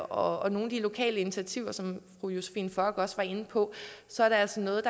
og nogle af de lokale initiativer som fru josephine fock også var inde på så er det altså noget